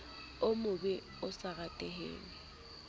o mobe o sa rateheng